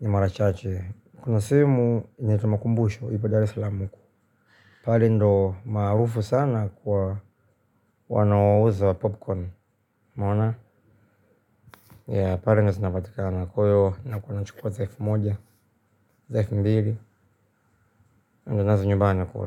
ni mara chache. Kuna sehemu, ni etumakumbushu, ipadari salamuku. Pale ndo maarufu sana kwa wanao uza popcorn. Maona? Ya, pali ndo sinapatika na kuyo, nakuwa na chukua zaifu moja, zaifu mbili, ndo nazi nyubani kwa.